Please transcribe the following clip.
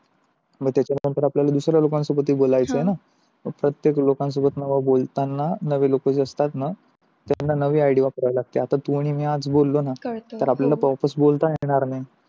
मग, त्यानंतर आपल्याला हे दुसऱ्या लोकांसोबत ही बोलायच आहे ना, जर आपल्याकडे सर्वांबरोबर नवीन लोक असतात त्यांना नवी Idea आता तू आणि मी आज बोललो ना तर आपण परत बोलू शकणार नाही.